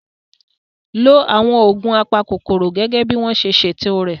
Lo àwọn oògùn apakòkòrò gẹ́gẹ́ bí wọ́n ṣe ṣètò rẹ̀